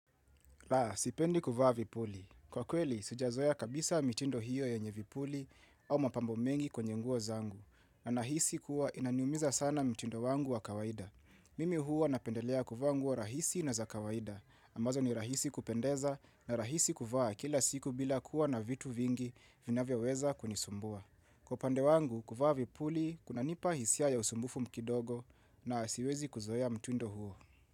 Laa, sipendi kuvaa vipuli. Kwa kweli, sijazoea kabisa mitindo hiyo yenye vipuli au mapambo mengi kwenye nguo zangu. Nahisi kuwa inaniumiza sana mtindo wangu wa kawaida. Mimi huwa napendelea kuvaa nguo rahisi na za kawaida. Ambazo ni rahisi kupendeza na rahisi kuvaa kila siku bila kuwa na vitu vingi vinavyoweza kunisumbua. Kwa upandewangu, kuvaa vipuli, kuna nipa hisia ya usumbufu kidogo na siwezi kuzoea mtindo huo.